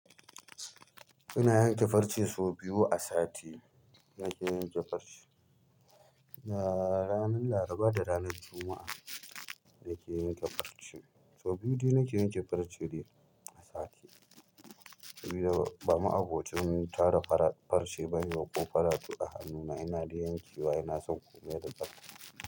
Ina yanke farce sau biyu a sati. Nake yanke farce da ranan laraba da ranan juma'a. Nake yanke farce sau biyu dai nake yanke farce dai a sati. Sabida ba ma abocin tara farce ba ne ko faratu a hannuna ina dai yankewa ina son komai da farce.